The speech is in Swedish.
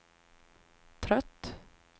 trött